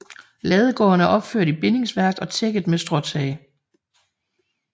Ladegården er opført i bindingsværk og tækket med stråtag